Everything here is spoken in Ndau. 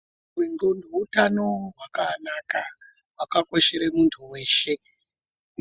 Hutano hwendxondo hutano hwakanaka hwakakoshere muntu veshe.